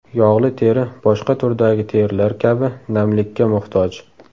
Yog‘li teri boshqa turdagi terilar kabi namlikka muhtoj.